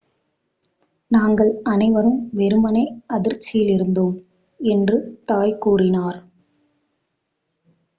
"""நாங்கள் அனைவரும் வெறுமனே அதிர்ச்சியில் இருந்தோம்," என்று தாய் கூறினார்.